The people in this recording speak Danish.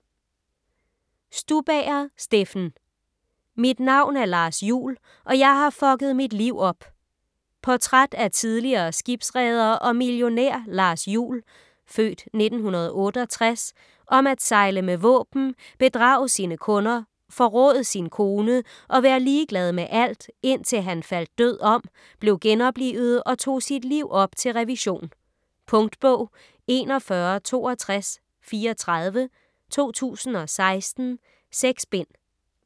Stubager, Steffen: Mit navn er Lars Juhl, og jeg har fucket mit liv op Portræt af tidligere skibsreder og millionær Lars Juhl (f. 1968), om at sejle med våben, bedrage sine kunder, forråde sin kone og være ligeglad med alt, indtil han faldt død om, blev genoplivet og tog sit liv op til revision. Punktbog 416234 2016. 6 bind.